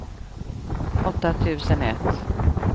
åtta tusen ett